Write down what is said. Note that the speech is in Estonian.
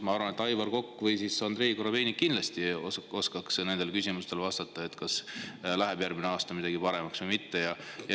Ma arvan, et Aivar Kokk või Andrei Korobeinik oskaks kindlasti vastata, kas järgmisel aastal läheb midagi paremaks või mitte.